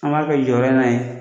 An b'a kɛ jɔyɔrɔ in na yen